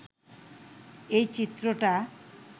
এই চিত্রটা